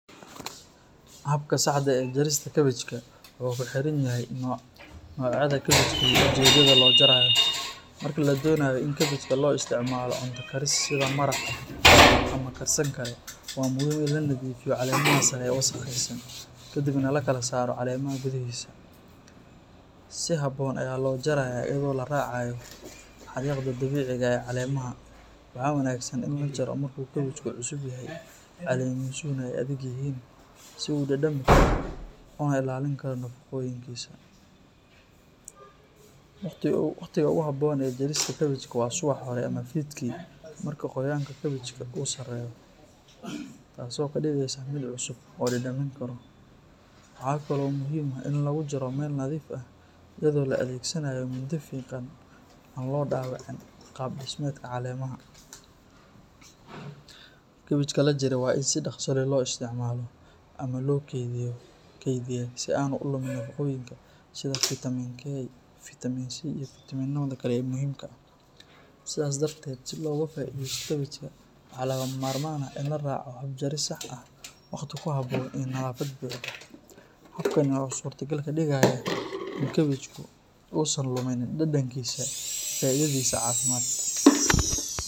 Habka saxda ah ee jarista kabajka wuxuu ku xiran yahay nooca kabajka iyo ujeedada loo jarayo. Marka la doonayo in kabajka loo isticmaalo cunto karis sida maraq ama karsan kale, waa muhiim in la nadiifiyo caleemaha sare ee wasakhaysan kadibna la kala saaro caleemaha gudihiisa. Si habboon ayaa loo jarayaa iyadoo la raacayo xariiqda dabiiciga ah ee caleemaha. Waxaa wanaagsan in la jaro marka uu kabajku cusub yahay, caleemihiisuna ay adag yihiin si uu u dhadhami karo una ilaalin karo nafaqooyinkiisa. Waqtiga ugu habboon ee jarista kabajka waa subaxda hore ama fiidkii marka qoyaanka kabajku uu sarreeyo, taas oo ka dhigaysa mid cusub oo la dhadhamin karo. Waxaa kale oo muhiim ah in lagu jaro meel nadiif ah iyadoo la adeegsanayo mindi fiiqan si aan loo dhaawicin qaab dhismeedka caleemaha. Kabajka la jaray waa in si dhaqso leh loo isticmaalo ama loo kaydiyaa si aanu u lumin nafaqooyinka sida fitamiin K, fitamiin C iyo fiitamiinada kale ee muhiimka ah. Sidaas darteed, si looga faa’iideysto kabajka, waxaa lagama maarmaan ah in la raaco hab jaris sax ah, waqti ku habboon iyo nadaafad buuxda. Habkani wuxuu suurtogal ka dhigayaa in kabajku uusan luminin dhadhankiisa iyo faa’iidadiisa caafimaad.